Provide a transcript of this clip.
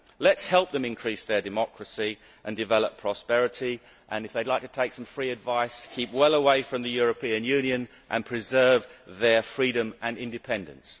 Let us help them increase their democracy and develop prosperity and, if they would like to take some free advice, let them keep well away from the European Union and preserve their freedom and independence.